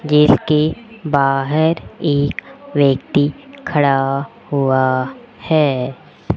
Guess के बाहर एक व्यक्ति खड़ा हुआ है।